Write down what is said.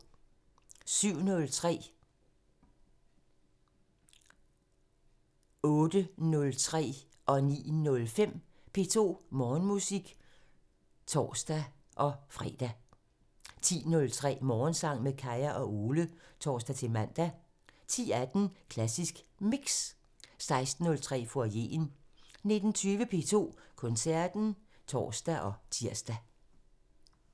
07:03: P2 Morgenmusik (tor-lør) 08:03: P2 Morgenmusik (tor-fre) 09:05: P2 Morgenmusik (tor-fre) 10:03: Morgensang med Kaya og Ole (tor-man) 10:18: Klassisk Mix 16:03: Foyeren 19:20: P2 Koncerten (tor og tir)